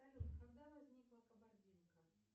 салют когда возникла кабардинка